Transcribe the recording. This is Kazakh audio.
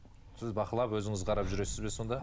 сіз бақылап өзіңіз қарап жүресіз бе сонда